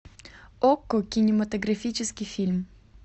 окко кинематографический фильм